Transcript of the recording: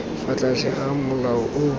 fa tlase ga molao o